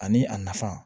Ani a nafa